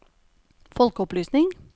folkeopplysning